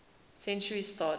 century started